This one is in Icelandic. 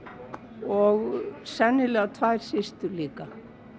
og sennilega tvær systur mínar líka